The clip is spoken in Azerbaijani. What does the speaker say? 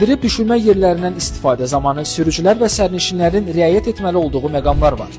Minib düşmə yerlərindən istifadə zamanı sürücülər və sərnişinlərin rəyət etməli olduğu məqamlar var.